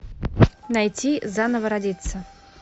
найти заново родиться